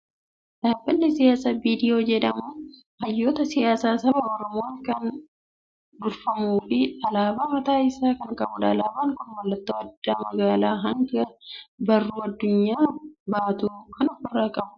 Dhaabbanni siyaasaa BDO jedhamu hayyoota siyaasaa saba Oromoon kan durfamuu fi alaabaa mataa isaa kan qabudha. Alaabaan kun mallattoo odaa, madaala hangaa fi barruu addunyaa baatu kan ofirraa qabu dha.